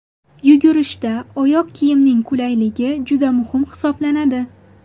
Yugurishda oyoq kiyimning qulayligi juda muhim hisoblanadi.